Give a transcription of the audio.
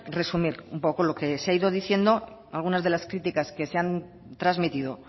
resumir un poco lo que se ha ido diciendo algunas de las críticas que se han trasmitido